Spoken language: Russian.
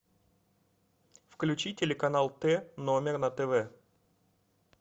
включи телеканал т номер на тв